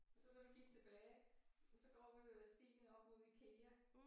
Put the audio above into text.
Og så da vi gik tilbage så går vi jo ad stien op mod IKEA